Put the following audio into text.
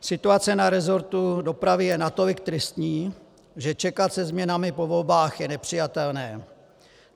Situace na resortu dopravy je natolik tristní, že čekat se změnami po volbách je nepřijatelné.